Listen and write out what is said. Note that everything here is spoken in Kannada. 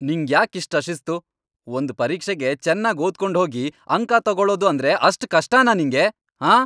ನಿಂಗ್ಯಾಕ್ ಇಷ್ಟ್ ಅಶಿಸ್ತು?! ಒಂದ್ ಪರೀಕ್ಷೆಗೆ ಚೆನ್ನಾಗ್ ಓದ್ಕೊಂಡ್ಹೋಗಿ ಅಂಕ ತೊಗೊಳೋದು ಅಂದ್ರೆ ಅಷ್ಟ್ ಕಷ್ಟನಾ ನಿಂಗೆ, ಆಂ?